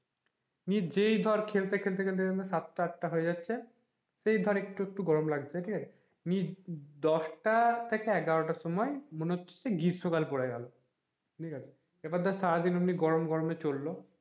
মানে যেই ধরে খেলতে খেলতে সাত আঠটা হয়ে যাচ্ছে সে ধর একটু একটু গরম লাগছে আমি দশটা থেকে এগারোটার সময় মনে হচ্ছে গ্রীষ্মকাল পরে গেলো এবং ধরে সারা দিন গরম গরমে চললো,